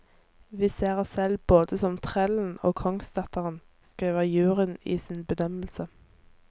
Vi ser oss selv både som trellen og kongsdatteren, skriver juryen i sin bedømmelse.